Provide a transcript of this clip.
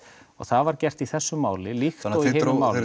og það var gert í þessu máli líkt og í hinu málinu